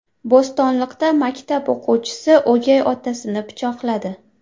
Bo‘stonliqda maktab o‘quvchisi o‘gay otasini pichoqladi.